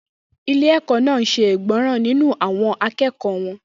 Ilé-ẹ̀kọ́ náà ṣe ìgbọràn nínú àwọn akẹ́kọ̀ọ́ wọn.